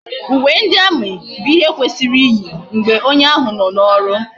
Ume ndi army bu ihe kwesiri iyi mgbe onye ahu no na oru